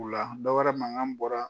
O la dɔ wɛrɛ mankan bɔra.